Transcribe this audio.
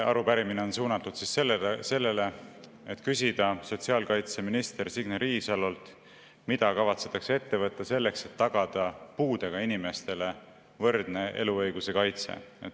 Arupärimine on suunatud sellele, et küsida sotsiaalkaitseminister Signe Riisalolt, mida kavatsetakse ette võtta selleks, et tagada puudega inimestele võrdne eluõiguse kaitse.